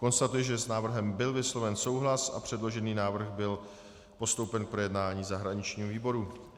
Konstatuji, že s návrhem byl vysloven souhlas a předložený návrh byl postoupen k projednání zahraničnímu výboru.